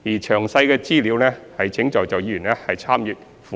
詳細資料請在座議員參閱附件。